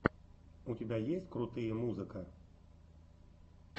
у тебя есть крутые музыка